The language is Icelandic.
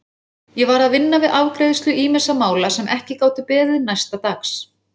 Ég var að vinna við afgreiðslu ýmissa mála sem ekki gátu beðið næsta dags.